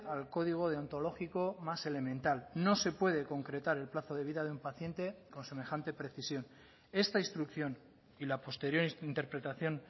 al código deontológico más elemental no se puede concretar el plazo de vida de un paciente con semejante precisión esta instrucción y la posterior interpretación